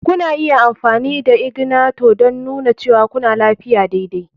Kuna iya amfani da ignator don nuna cewa kuna tafiya daidai.